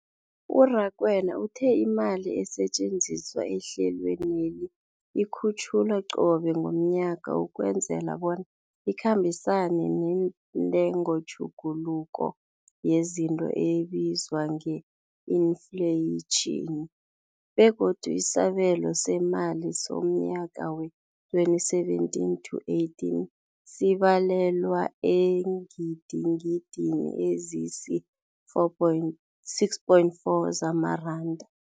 U-Rakwena uthe imali esetjenziswa ehlelweneli ikhutjhulwa qobe ngomnyaka ukwenzela bona ikhambisane nentengotjhuguluko yezinto ebizwa nge-infleyitjhini, begodu isabelo seemali somnyaka we-2017 to 18 sibalelwa eengidigidini ezisi-6.4 zamaranda.